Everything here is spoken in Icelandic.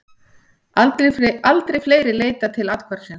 Aldrei fleiri leitað til athvarfsins